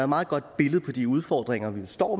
meget godt billede på de udfordringer vi står